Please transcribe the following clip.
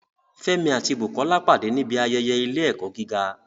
Fẹ́mi àti Bukola pàdé níbi ayẹyẹ ilé-ẹ̀kọ́ gíga